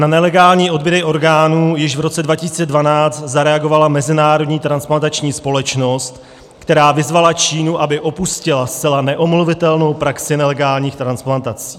Na nelegální odběry orgánů již v roce 2012 zareagovala Mezinárodní transplantační společnost, která vyzvala Čínu, aby opustila zcela neomluvitelnou praxi nelegálních transplantací.